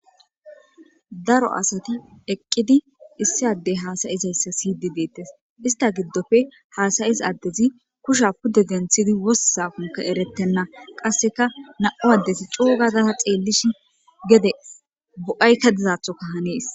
Dara asati eqidi isdi adey hasayizaysa siyishe detes ista gidope hasayiza adezi kusha pude denthi wostizako ertena qaseka na'u adeti co gada xelishin gede bo'ayaka dizatho hanes